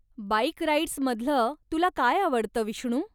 Bike राईड्समधलं तुला काय आवडतं, विष्णू?